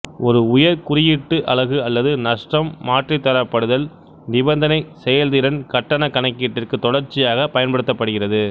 ஒரு உயர் குறியீட்டு அலகு அல்லது நஷ்டம் மாற்றித்தரப்படுதல் நிபந்தனை செயல்திறன் கட்டண கணக்கீட்டிற்கு தொடர்ச்சியாக பயன்படுத்தப்படுகிறது